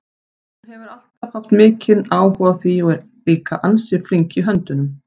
Hún hefur alltaf haft mikinn áhuga á því og er líka ansi flink í höndunum.